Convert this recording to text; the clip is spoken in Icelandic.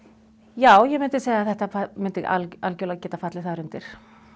já ég myndi segja að þetta myndi algerlega geta fallið þar undir